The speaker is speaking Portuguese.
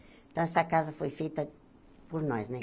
Então, essa casa foi feita por nós, né?